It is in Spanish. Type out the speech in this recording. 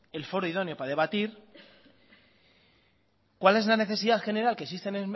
el foro idóneo para debatir cuál es la necesidad general que existe